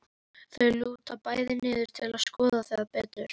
Þau lúta bæði niður til að skoða það betur.